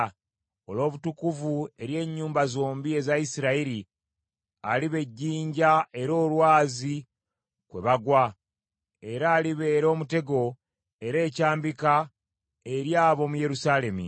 Olw’obutukuvu eri ennyumba zombi eza Isirayiri aliba ejjinja era olwazi kwe bagwa, era alibeera omutego era ekyambika eri ab’omu Yerusaalemi.